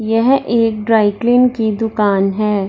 यह एक dry clean की दुकान है।